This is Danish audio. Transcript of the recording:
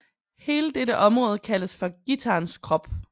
Hele dette område kaldes for guitarens krop